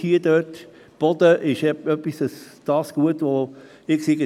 Der Boden ist das Gut, das alljährlich abnimmt.